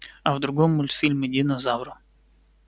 а в другом мультфильме динозавра